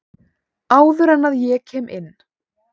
Áður en að ég kem inn.